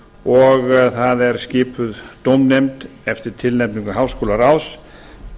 og það er skipuð dómnefnd eftir tilnefningu háskólaráðs